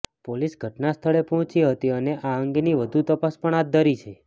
police ઘટના સ્થળે પહોંચી હતી અને આ અંગેની વધુ તપાસ પણ હાથ ધરી છે